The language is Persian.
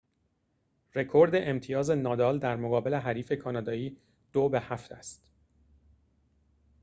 رکورد امتیاز نادال در مقابل حریف کانادایی ۷-۲ است